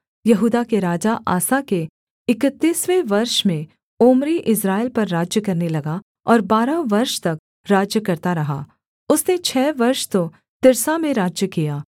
यहूदा के राजा आसा के इकतीसवें वर्ष में ओम्री इस्राएल पर राज्य करने लगा और बारह वर्ष तक राज्य करता रहा उसने छः वर्ष तो तिर्सा में राज्य किया